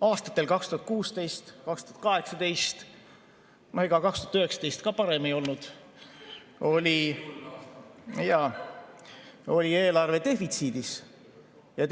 Aastatel 2016–2018 – ja ega 2019 parem ei olnud – oli eelarve defitsiidis,